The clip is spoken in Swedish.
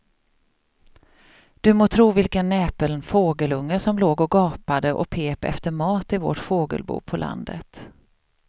Du må tro vilken näpen fågelunge som låg och gapade och pep efter mat i vårt fågelbo på landet.